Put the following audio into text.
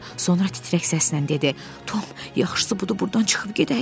Sonra titrək səslə dedi: Tom, yaxşısı budur burdan çıxıb gedək.